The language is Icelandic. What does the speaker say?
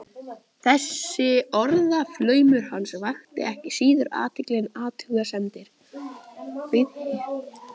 Þessi orðaflaumur hans vakti ekki síður athygli en athugasemdir